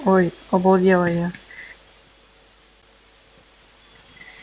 ой обалдела я